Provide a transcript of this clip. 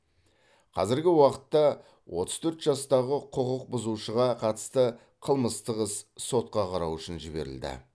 қазіргі уақытта отыз төрт жастағы құқық бұзушыға қатысты қылмыстық іс сотқа қарау үшін жіберілді